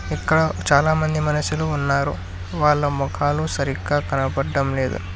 ఇక్కడ చాలామంది మనుషులు ఉన్నారు వాళ్ళ మొఖాలు సరిగ్గా కనబడటం లేదు.